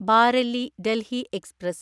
Bareilly Delhi express